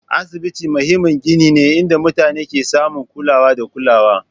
Asibitoci muhimmin gini ne inda mutane ke samun kulawa da kulawa